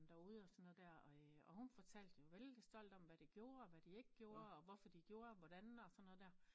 Der ude og sådan noget der og hun fortalte jo veldig stolt om hvad de gjorde og hvad de ikke gjorde og hvorfor de gjorde hvordan og sådan noget der